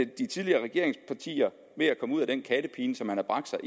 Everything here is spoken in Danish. de tidligere regeringspartier med at komme ud af den kattepine som man har bragt sig